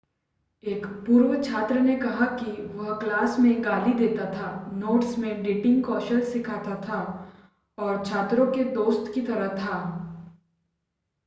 एक पूर्व छात्र ने कहा कि वह क्लास में गाली देता था नोट्स में डेटिंग कौशल सिखाता था और छात्रों के दोस्त की तरह था